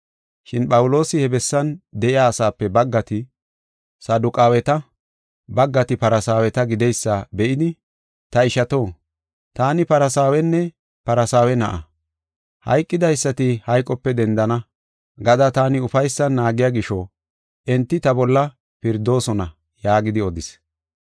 Shin Phawuloosi he bessan de7iya asaape baggati Saduqaaweta, baggati Farsaaweta gideysa be7idi, “Ta ishato, taani Farsaawenne Farsaawe na7a; ‘Hayqidaysati hayqope dendana’ gada taani ufaysan naagiya gisho enti ta bolla pirdoosona” yaagidi odis.